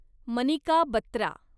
Manika Batra